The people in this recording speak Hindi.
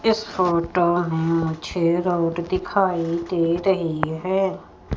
इस फोटो में मुझे रोड दिखाई दे रही है।